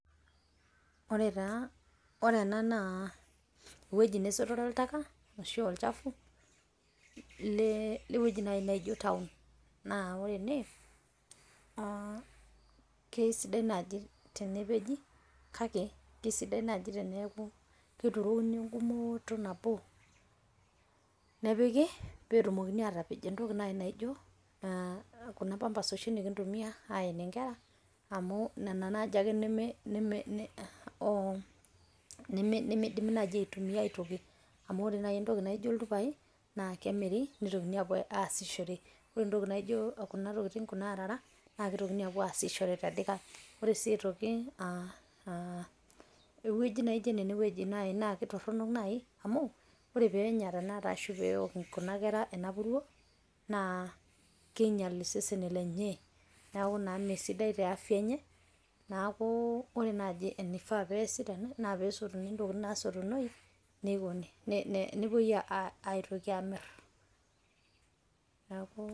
Ore ena naa eweji nesotere oltaka ashu olchafu le weji naijo town naa ore ene keisidai naaji tenepeji kake kesidai enaaji teneaku keturoni enkumooto nbo nepiki peetumokini aatapej entoki naai nijo kuna pampers oshi nikintumiya aenie inkerra amu nena naa duake nemeidimi enaaji aitumiya aitkoi amu ore naii intoki naijo iltupai naa kemiri neitokini aapo aashishore, ore entoki naijo kuna arara naa kepoi aitoki aashishore te dikai, ore sii aitoki eweji naaijo eneweji naa etorono naii amuu peenya anaata arashu peok kuna kera ena puruo naa keinyal iseseni lenyee, neaku naa mesidai te afya enye naaku ore enaaji eneifaa peasi tena naa peesotuni entoki naasotunoi neikoni nepoi aitoki aamirr.